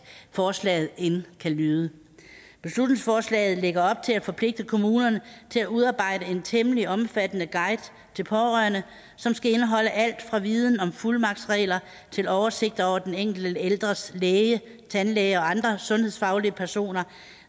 forslaget end kan lyde beslutningsforslaget lægger op til at forpligte kommunerne til at udarbejde en temmelig omfattende guide til pårørende som skal indeholde alt fra viden om fuldmagtsregler til oversigter over den enkelte ældres læge tandlæge og andre sundhedsfaglige personer